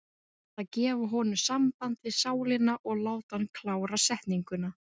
Ég verð að gefa honum samband við sálina og láta hana klára setninguna.